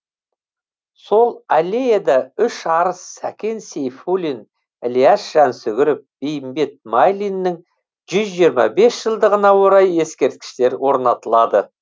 сол аллеяда үш арыс сәкен сейфуллин ілияс жансүгіров бейімбет майлиннің жүз жиырма бес жылдығына орай ескерткіштер орнатылады